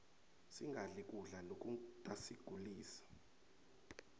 singadli kudla lokutasigulisa